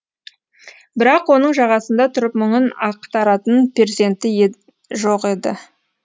бірақ оның жағасында тұрып мұңын ақтаратын перзенті енді жоқ